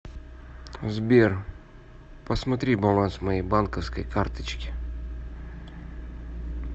сбер посмотри баланс моей банковской карточки